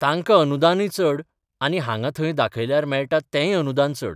तांकां अनुदानय चड आनी हांगां थंय दाखयल्यार मेळटा तेंय अनुदान चड.